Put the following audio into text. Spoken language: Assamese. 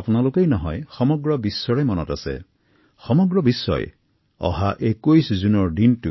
অকল আপোনালোক আৰু ময়ে নহয় সমগ্ৰ বিশ্বৰ বাবে আত্মসচেতনাৰ ক্ষেত্ৰত এইটো